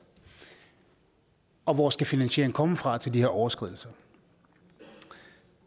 og hvor skal finansieringen komme fra til de her overskridelser